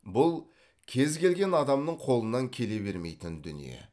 бұл кез келген адамның қолынан келе бермейтін дүние